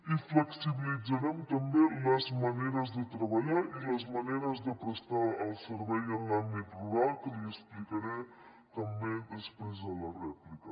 i flexibilitzarem també les maneres de treballar i les maneres de prestar el servei en l’àmbit rural que li explicaré també després a la rèplica